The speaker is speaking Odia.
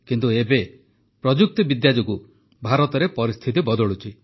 କିନ୍ତୁ ଏବେ ପ୍ରଯୁକ୍ତିବିଦ୍ୟା ଯୋଗୁଁ ଭାରତରେ ପରିସ୍ଥିତି ବଦଳୁଛି